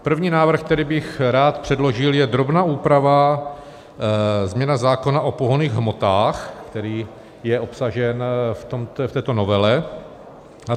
První návrh, který bych rád předložil, je drobná úprava, změna zákona o pohonných hmotách, který je obsažen v této novele.